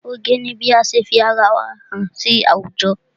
Oge ni bí ase fi ara wa hàn sí àwùjọ.